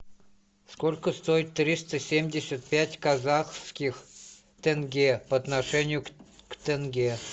сколько стоит триста семьдесят пять казахских тенге по отношению к тенге